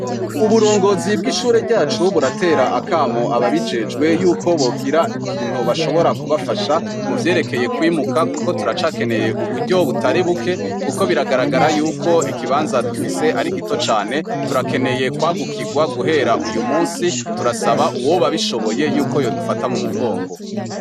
Uburongozi bwishure ryacu ,buratera akamo ababijejwe Yuko bogira ikintu bashobora kubafasha muvyerekeye kwimuka kuko turacakeneye uburyo butari kuko biragaragara ko ikibanza dufise arigito cane turakeneye kwagukirwa guhera uyumunsi turasaba uwoba abishoboye ko yodufata mumugongo.